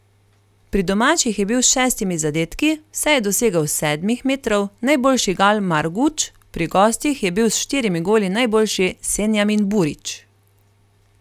Pri domačih je bil s šestimi zadetki, vse je dosegel s sedmih metrov, najboljši Gal Marguč, pri gostih je bil s štirimi goli najboljši Senjamin Burić.